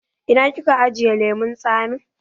Ina kika ajiye lemun tsamin?